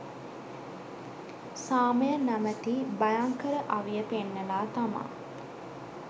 සාමය නමැති භයංකර අවිය පෙන්නලා තමා